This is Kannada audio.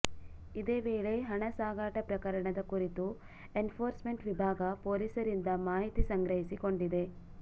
ಇದೇ ವೇಳೆ ಹಣ ಸಾಗಾಟ ಪ್ರಕರಣದ ಕುರಿತು ಎನ್ಫೋರ್ಸ್ಮೆಂಟ್ ವಿಭಾಗ ಪೊಲೀಸರಿಂದ ಮಾಹಿತಿ ಸಂಗ್ರಹಿಸಿ ಕೊಂಡಿದೆ